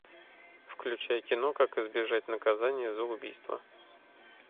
включай кино как избежать наказания за убийство